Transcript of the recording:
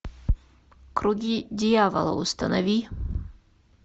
круги дьявола установи